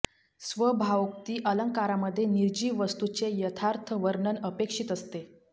स्वभावोक्ती अलंकारामध्ये निर्जीव वस्तूचे यथार्थ वर्णन अपेक्षित असते